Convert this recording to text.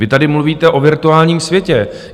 Vy tady mluvíte o virtuálním světě.